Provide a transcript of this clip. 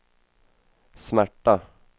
smärta